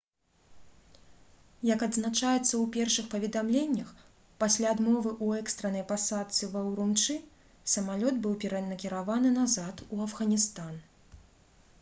як адзначаецца ў першых паведамленнях пасля адмовы ў экстраннай пасадцы ва урумчы самалёт быў перанакіраваны назад у афганістан